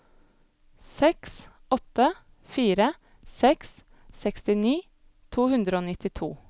seks åtte fire seks sekstini to hundre og nittito